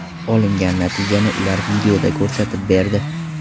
Olingan natijani ular videoda ko‘rsatib berdi.